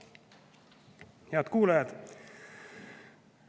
Head kuulajad!